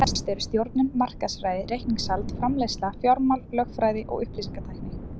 Þær helstu eru stjórnun, markaðsfræði, reikningshald, framleiðsla, fjármál, lögfræði og upplýsingatækni.